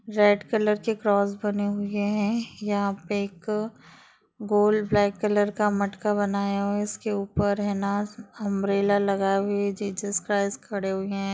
red colour की cross बने हुए है यहा पे एक गोल्ड ब्लॅक कलर का मटका बनाए हुए इसके उपर हांबरेला